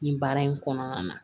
Nin baara in kɔnɔna na